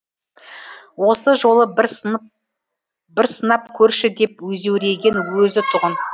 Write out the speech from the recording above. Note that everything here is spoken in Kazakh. осы жолы бір сынап көрші деп өзеуреген өзі тұғын